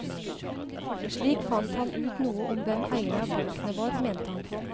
Slik fant han ut noe om hvem eierne av bøkene var, mente han.